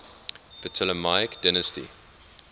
ptolemaic dynasty